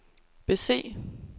bese